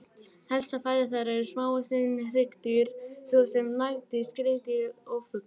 Helsta fæða þeirra eru smávaxin hryggdýr svo sem nagdýr, skriðdýr og fuglar.